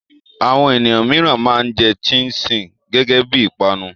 Àwọn ènìyàn mìíràn máa ń jẹ ṣíín-ṣiìn gẹ́gẹ́ bí i ìpanu.